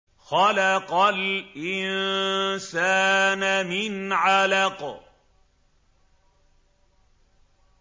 خَلَقَ الْإِنسَانَ مِنْ عَلَقٍ